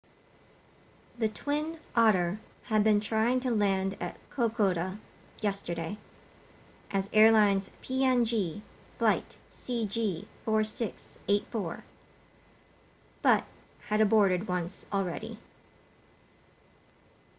the twin otter had been trying to land at kokoda yesterday as airlines png flight cg4684 but had aborted once already